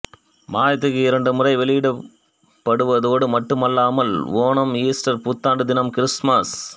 மாதத்திற்கு இரண்டு முறை வெளியிடப்படுவதோடு மட்டுமல்லாமல் ஓணம் ஈஸ்டர் புத்தாண்டு தினம் கிறிஸ்துமஸ்